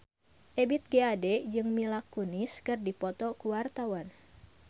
Ebith G. Ade jeung Mila Kunis keur dipoto ku wartawan